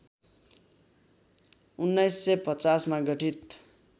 १९५० मा गठित